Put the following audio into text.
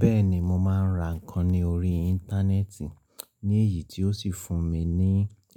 Bẹ́ẹ̀ni mo máa ń ra nǹkan ní orí Íńtánẹ́ẹ̀tì ní èyí tó sì fún mi ní